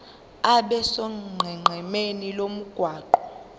abe sonqenqemeni lomgwaqo